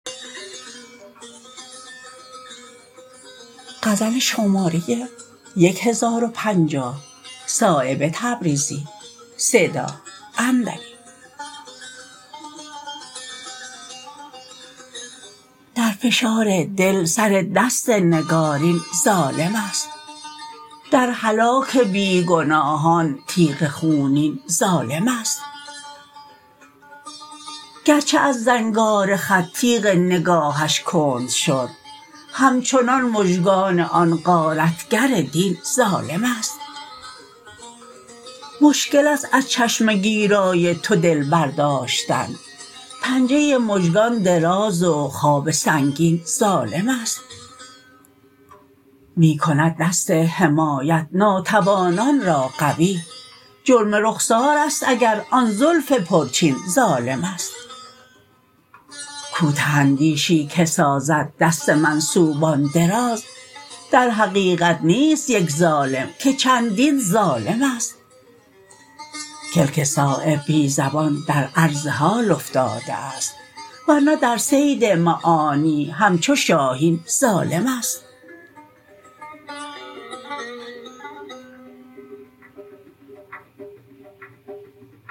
در فشار دل سر دست نگارین ظالم است در هلاک بیگناهان تیغ خونین ظالم است گرچه از زنگار خط تیغ نگاهش کند شد همچنان مژگان آن غارتگر دین ظالم است مشکل است از چشم گیرای تو دل برداشتن پنجه مژگان دراز و خواب سنگین ظالم است می کند دست حمایت ناتوانان را قوی جرم رخسارست اگر آن زلف پرچین ظالم است کوته اندیشی که سازد دست منسوبان دراز در حقیقت نیست یک ظالم که چندین ظالم است کلک صایب بی زبان در عرض حال افتاده است ورنه در صید معانی همچو شاهین ظالم است